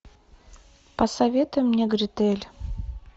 посоветуй мне гретель